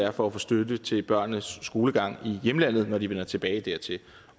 at få støtte til børnenes skolegang i hjemlandet når de vender tilbage dertil